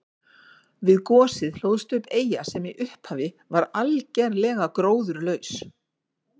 Við gosið hlóðst upp eyja sem í upphafi var algerlega gróðurlaus.